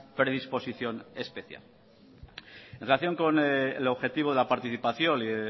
predisposición especial en relación con el objetivo de la participación y